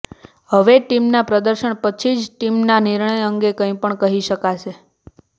હવે ટીમના પ્રદર્શન પછી જ ટીમના નિર્ણય અંગે કંઈ પણ કહી શકાશે